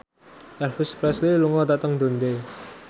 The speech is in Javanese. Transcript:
Elvis Presley lunga dhateng Dundee